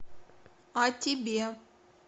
а тебе